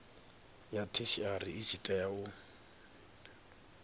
ya theshiari i tshi tea